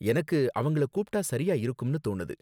எனக்கு அவங்கள கூப்பிட்டா சரியா இருக்கும்னு தோணுது.